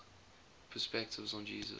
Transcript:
perspectives on jesus